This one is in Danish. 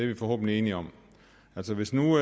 vi forhåbentlig enige om altså hvis nu